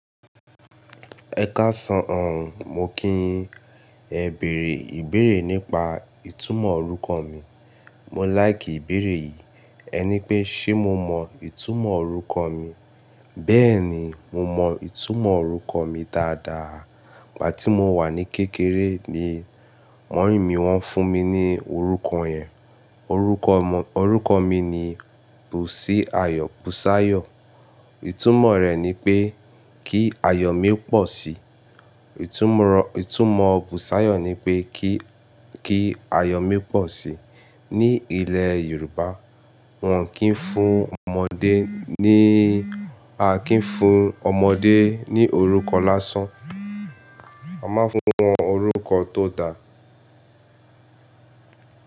Ẹ káṣọ̀hàn, mo kí yín. Ẹ bèèrè ìbéèrè nípa ìtumọ̀ orúkọ mi. Mọ́ láì kí ìbéèrè yìí. Ẹ ní pé ṣé mo mọ ìtumọ̀ orúkọ mi? Bẹ́ẹ̀ ni, mo mọ ìtumọ̀ orúkọ mi dáadáa. Ìgbà tí mo wà ní kékeré ni mommy wọ́n fún mi ní orúkọ yẹn. Orúkọ, orúkọ mi ni Bùsí Ayọ̀ Bùsáyọ̀. Ìtumọ̀ rẹ̀ ni pé kí ayọ̀ mi pọ̀ sí. Ìtumọ̀, ìtumọ̀ Bùsáyọ̀ ni pé kí, kí ayọ̀ mi pọ̀ sí. Ní ilẹ̀ Yorùbá, wọn kì í fún ọmọdé níí, a kì í fún ọmọdé ní orúkọ lásán. A máa ń fún wọn orúkọ tó da.